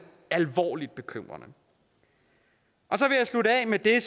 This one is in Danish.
alvorligt bekymrende så vil jeg slutte af med det